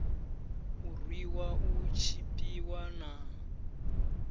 u rwiwa u tshipiwa na